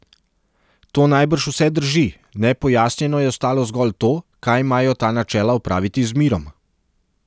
To najbrž vse drži, nepojasnjeno je ostalo zgolj to, kaj imajo ta načela opraviti z mirom.